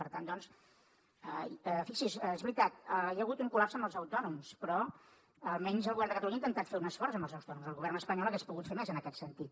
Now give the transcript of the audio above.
per tant doncs fixi’s és veritat hi ha hagut un col·lapse amb els autònoms però almenys el govern de catalunya ha intentat fer un esforç amb els autònoms el govern espanyol hauria pogut fer més en aquest sentit